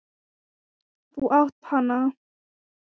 Þú átt hana!